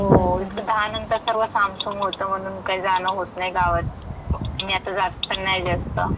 करताना. हो, हो. इकडं सहानंतर सर्व सामसूम होतं म्हणून काही जाणं होतं नाही गावात. मी आता जात पण नाही जास्त.